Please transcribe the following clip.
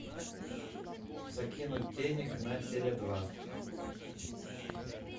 закинуть денег на теле два